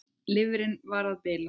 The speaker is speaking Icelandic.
Lifrin var að bila.